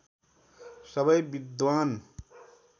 सबै विद्वान